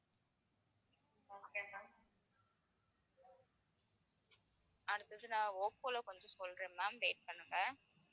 அடுத்தது நான் ஓப்போல கொஞ்சம் சொல்றேன் ma'am wait பண்ணுங்க